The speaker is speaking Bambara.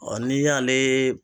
Ɔ ni y'ale